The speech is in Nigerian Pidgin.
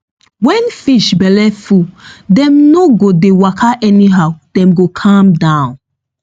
when fish belle full dem no go dey waka anyhow dem go calm down